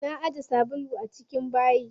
Na ajiye sabulu na a cikin bayi.